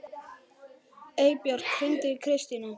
Eybjört, hringdu í Kristrúnu.